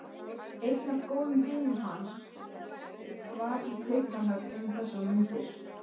Einn af góðvinum hans var í Kaupmannahöfn um þessar mundir.